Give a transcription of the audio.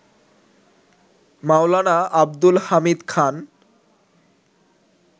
Maulana Abdul Hamid Khan